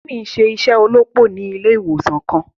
Timi n ṣe iṣẹ olópò ni ilé ìwòsàn kàn.